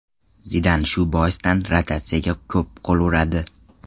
Zidan shu boisdan rotatsiyaga ko‘p qo‘l uradi.